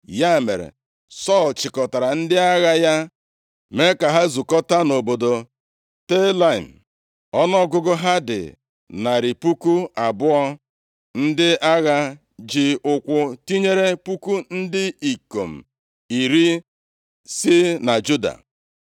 Ya mere, Sọl chịkọtara ndị agha ya mee ka ha zukọtaa nʼobodo Telaim. Ọnụọgụgụ ha dị narị puku abụọ, ndị agha ji ụkwụ, tinyere puku ndị ikom iri si na Juda.